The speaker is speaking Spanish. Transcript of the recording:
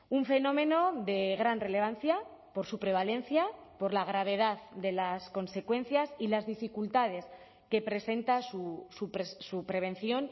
un fenómeno de gran relevancia por su prevalencia por la gravedad de las consecuencias y las dificultades que presenta su prevención